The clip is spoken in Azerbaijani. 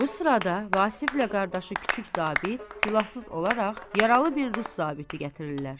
Bu sırada Vasiflə qardaşı kiçik zabit silahsız olaraq yaralı bir rus zabiti gətirirlər.